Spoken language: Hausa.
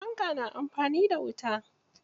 Fanka na amfani da wuta.